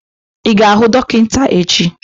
I ga-ahụ dọkịta echi!